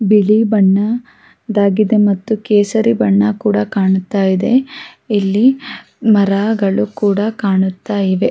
ಬಿಳಿ ಬಣ್ಣ ದಾಗಿದೆ ಮತ್ತು ಕೇಸರಿ ಬಣ್ಣ ಕೂಡ ಕಾಣುತ ಇದೆ ಇಲ್ಲಿ ಮರಗಳು ಕೂಡ ಕಾಣುತ ಇವೆ.